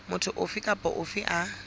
motho ofe kapa ofe a